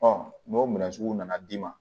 n'o minɛn sugu nana d'i ma